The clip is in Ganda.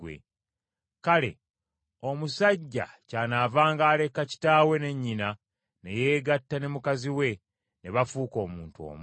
“Kale omusajja kyanaavanga aleka kitaawe ne nnyina ne yeegatta ne mukazi we, ne bafuuka omuntu omu.”